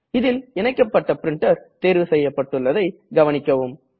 இதில் இணைக்கப்பட்ட பிரிண்டர் தேர்வு செய்யப் பட்டுள்ளதை கவனிக்கவும்